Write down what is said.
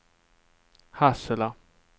Hassela